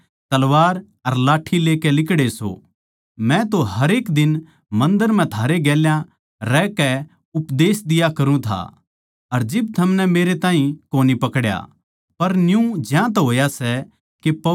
मै तो हरेक दिन मन्दर म्ह थारै गेल्या रहकै उपदेश दिया करूँ था अर जिब थमनै मेरै ताहीं कोनी पकड्या पर न्यू ज्यांतै होया सै के पवित्र ग्रन्थ म्ह लिखी बात पूरी होवै